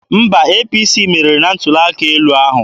Mba, APC meriri na ntuli aka elu ahụ.